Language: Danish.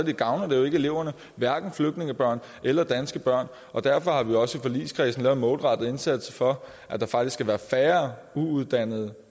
gavner det jo ikke eleverne hverken flygtningebørn eller danske børn og derfor har vi også i forligskredsen gjort en målrettet indsats for at der faktisk skal være færre uuddannede